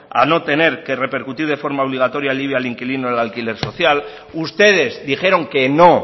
a no tener que repercutir de forma obligatorio el ibi al inquilino del alquiler social ustedes dijeron que no